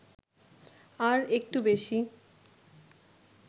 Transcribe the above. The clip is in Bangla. আর একটু বেশি